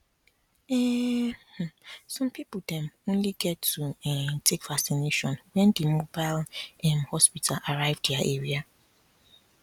ehnn um some people dem only get to um take vacination when di mobile um hospital arrive dia area